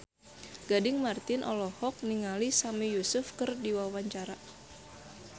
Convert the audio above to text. Gading Marten olohok ningali Sami Yusuf keur diwawancara